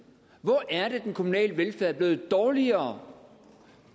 hvor er det den kommunale velfærd er blevet dårligere